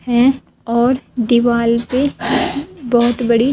हैं और दीवाल पे बहोत बड़ी--